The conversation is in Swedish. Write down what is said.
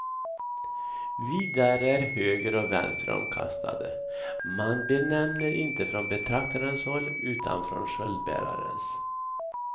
Vidare är höger och vänster omkastade, man benämner inte från betraktarens håll utan från sköldbärarens.